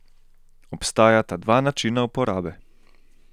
Obstajata dva načina uporabe.